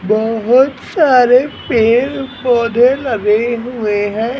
बहुत सारे पेड़ पौधे लगे हुए हैं।